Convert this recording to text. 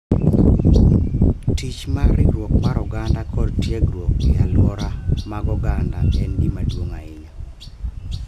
Tich mar riwruok mar oganda kod tiegruok e alwora mag oganda en gima duong' ahinya